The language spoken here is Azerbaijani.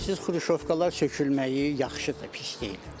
Bilirsiniz, Xruşovkalar sökülməyi yaxşıdır, pis deyil.